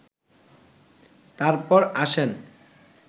তারপর আসেন